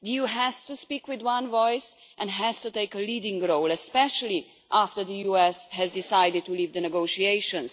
The EU has to speak with one voice and has to take a leading role, especially after the US has decided to leave the negotiations.